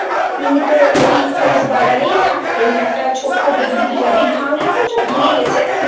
তিনি তো ওই খোশবাগানেই থাকতেন, একটা ছোট্ট দেখবি তুই যাবি ভাঙ্গ এখন সব ভেঙ্গে গেছে,